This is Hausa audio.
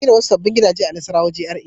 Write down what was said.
An gina wasu sabbin gidaje a Nassarawa GRA.